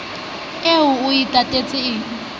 eo o e tatetseng e